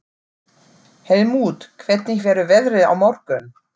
Helmút, hvernig verður veðrið á morgun?